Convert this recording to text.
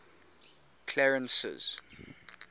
clarence's